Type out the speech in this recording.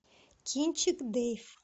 кинчик дейв